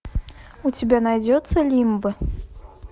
у тебя найдется лимбо